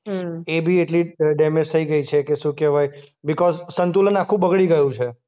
હમ્મ. એ બી એટલી જ ડેમેજ થઈ ગઈ છે કે શું કહેવાય? બિકોઝ સંતુલન આખું બગડી ગયું છે.